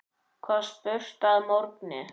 var spurt að morgni.